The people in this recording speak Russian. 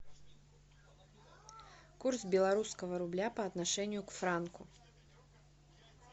курс белорусского рубля по отношению к франку